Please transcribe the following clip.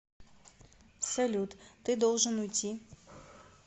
салют ты должен уйти